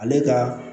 Ale ka